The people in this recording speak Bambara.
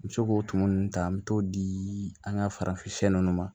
N bɛ se k'o tumu ninnu ta an bɛ t'o di an ka farafin siyɛn nunnu ma